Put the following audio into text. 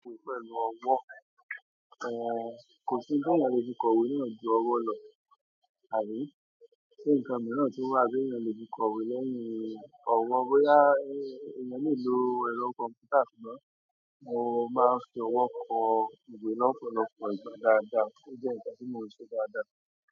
Pẹ̀lú ọwọ́. Kò sí n ti eeyan le fi kọ̀wé náà ju ọwọ́ lọ. Àbí? Ṣé nǹkan mìíràn tun wà tí eeyan le fi kọ̀wé lẹ́yìn ọwọ́, bóyá èèyàn lè lo ẹ̀rọ kọ̀m̀pútà ṣùgbọ́n mo máa ń fi ọwọ́ kọ ìwé lọ́pọ̀lọpọ̀ ìgbà dáadáa, ó dẹ́ nǹkan tí mo n ṣe dáadáa.